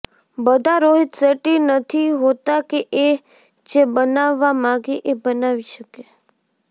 બધા રોહિત શેટ્ટી નથી હોતા કે એ જે બનાવવા માગે એ બનાવી શકે